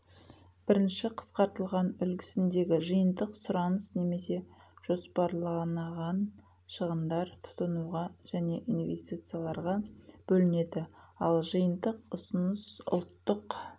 бірінші қысқртылған үлгісіндегі жиынтық сұраныс немесе жоспарланаған шығындар тұтынуға және инвестицияларға бөлінеді ал жиынтық ұсыныс ұлттық